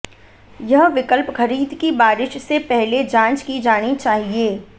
यह विकल्प खरीद की बारिश से पहले जाँच की जानी चाहिए